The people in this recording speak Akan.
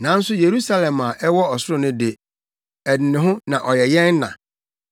Nanso Yerusalem a ɛwɔ ɔsoro no de, ɛde ne ho na ɔyɛ yɛn na.